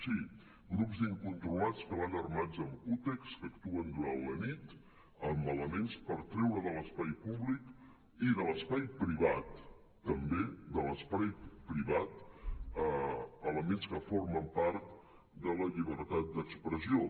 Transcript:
sí grups d’incontrolats que van armats amb cúters que actuen durant la nit amb elements per treure de l’espai públic i de l’espai privat també de l’espai privat elements que formen part de la llibertat d’expressió